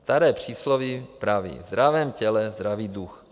Staré přísloví praví: ve zdravém těle zdravý duch.